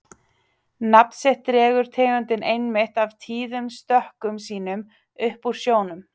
nafn sitt dregur tegundin einmitt af tíðum stökkum sínum upp úr sjónum